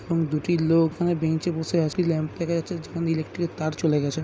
এবং দুটি লোক ওখানে বেঞ্চে বসে আছে। যেখান থেকে ইলেকট্রিকের তার চলে গেছে।